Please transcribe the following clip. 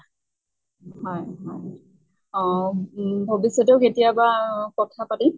হয় হয় অহ উম ভৱিষ্য়তেও কেতিয়াবা অ কথা পাতিম